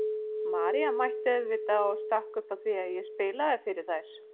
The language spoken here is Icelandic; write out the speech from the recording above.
María mætti auðvitað og stakk upp á því að ég spilaði fyrir þær.